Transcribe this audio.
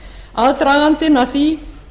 aðdragandinn að því